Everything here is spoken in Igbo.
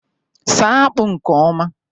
saa akpu nke oma